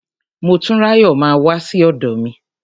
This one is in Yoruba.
Motúnráyọ̀ máa wá sí ọ̀dọ̀ mi.